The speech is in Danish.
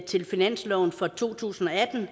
til finansloven for to tusind og atten